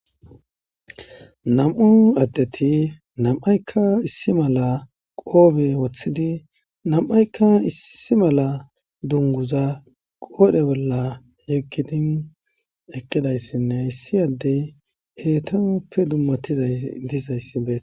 nam7u addeti nam7aykka issi mala qoobe wothidi nam7aykka issi mala dunguza qoodhe bolla yeggidin ekkidayssinne issi addey eetanuppe dummatizay diizayssibe